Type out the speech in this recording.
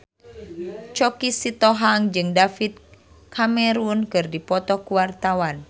Choky Sitohang jeung David Cameron keur dipoto ku wartawan